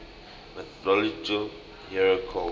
mythological hero cult